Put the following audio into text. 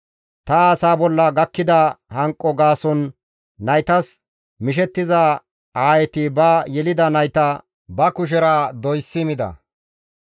Ta asaa bolla gakkida hanqo gaason naytas mishettiza aayeti ba yelida nayta ba kushera doysi mida.